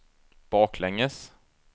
baklänges